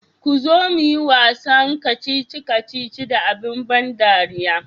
kuzo muyi wasan kacici kacici da abin ban dariya.